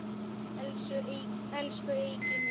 Elsku Eiki minn.